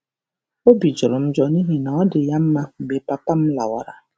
Obi jọrọ m njọ, n'ihi na ọ dị ya mma mgbe papa m lawara